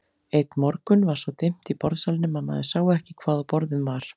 Einn morgun var svo dimmt í borðsalnum að maður sá ekki hvað á borðum var.